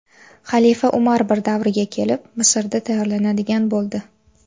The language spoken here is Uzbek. Xalifa Umar I davriga kelib, Misrda tayyorlanadigan bo‘ldi.